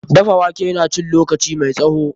Dafa wake na cin lokaci mai tsawo.